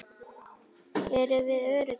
Erum við öruggir?